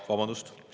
Vabandust!